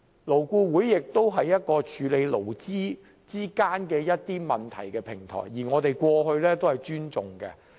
勞顧會是處理勞資問題的平台，而我們過往亦對其表示尊重。